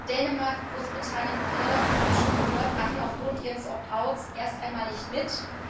Dänemark, Großbritannien und Irland, wir haben es schon gehört, machen aufgrund ihres Opt outs erst einmal nicht mit.